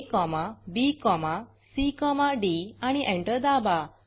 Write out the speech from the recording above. abcडी आणि एंटर दाबा